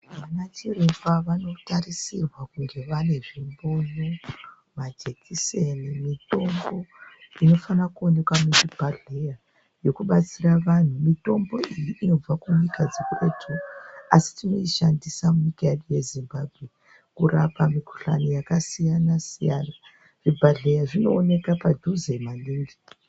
Anachiremba vanotarisirwa kuti vange vane zvipunu, majekiseni nemitombo inofanira kuo neka muzvibhedhera yakubatsira mitombo iyi inobva kunyika dzekuretu. Asi tinoishandisa munyika yedu yeZimbabwe kurapa mikhuhlani yakasiyana siyana. Zvibhedhera zvinooneka padhuze maningi.